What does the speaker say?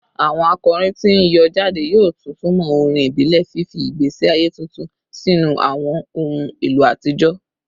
Awọn akọrin ti n yọ jade yoo tuntumọ orin ibile, fifi igbesi aye tuntun sinu awọn ohun elo atijọ